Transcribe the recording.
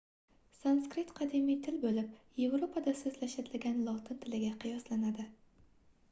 sanskrit qadimiy til boʻlib yevropada soʻzlashiladigan lotin tiliga qiyoslanadi